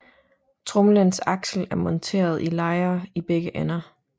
Tromlens aksel er monteret i lejer i begge ender